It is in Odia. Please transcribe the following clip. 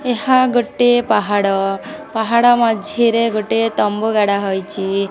ଏହା ଗୋଟେ ପାହାଡ଼ ପାହାଡ଼ ମଝିରେ ଗୋଟିଏ ତମ୍ବୁ ଗାଢ଼ା ହୋଇଛି।